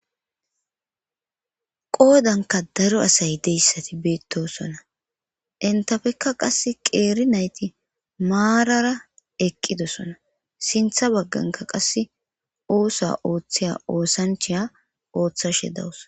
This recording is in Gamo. qoodanka daro asay deyssati beettosona entafekka qass qeeri nayti maarara eqqidosona sintha bagganka qasse oosa ooththeya oosancheya ooththashe dawus